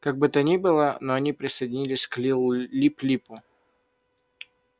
как бы то ни было но они присоединились к лип липу